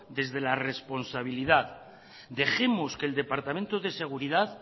desde la responsabilidad dejemos que el departamento de seguridad